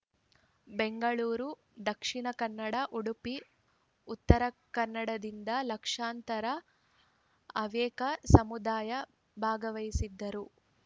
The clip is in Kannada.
ಬೆಂಗಳೂರು ದಕ್ಷಿಣ ಕನ್ನಡ ಉಡುಪಿ ಉತ್ತರ ಕನ್ನಡದಿಂದ ಲಕ್ಷಾಂತರ ಹವ್ಯಕ ಸಮುದಾಯ ಭಾಗವಹಿಸಿದ್ದರು